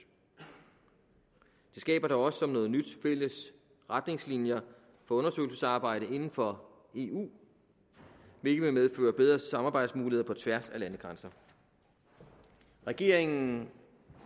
det skaber da også som noget nyt fælles retningslinjer for undersøgelsesarbejdet inden for eu hvilket vil medføre bedre samarbejdsmuligheder på tværs af landegrænser regeringen